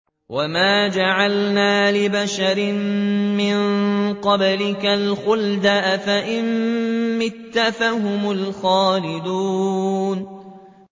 وَمَا جَعَلْنَا لِبَشَرٍ مِّن قَبْلِكَ الْخُلْدَ ۖ أَفَإِن مِّتَّ فَهُمُ الْخَالِدُونَ